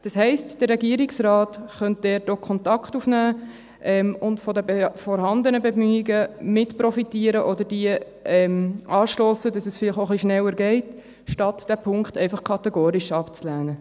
Das heisst, der Regierungsrat könnte dort auch Kontakt aufnehmen und von den vorhandenen Bemühungen mit profitieren oder diese auch anstossen, sodass es vielleicht auch etwas schneller geht, anstatt diesen Punkt einfach kategorisch abzulehnen.